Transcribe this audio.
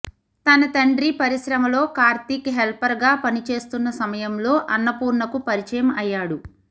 తన తండ్రి పరిశ్రమలో కార్తిక్ హెల్పర్గా పని చేస్తున్న సమయంలో అన్నపూర్ణకు పరిచయం అయ్యాడు